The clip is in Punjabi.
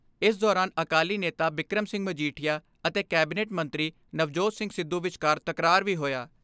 ਇਸ ਦੌਰਾਨ ਅਕਾਲੀ ਨੇਤਾ ਬਿਕਰਮ ਸਿੰਘ ਮਜੀਠੀਆ ਅਤੇ ਕੈਬਨਿਟ ਮੰਤਰੀ ਨਵਜੋਤ ਸਿੰਘ ਸਿੱਧੂ ਵਿਚਕਾਰ ਤਕਰਾਰ ਵੀ ਹੋਇਆ।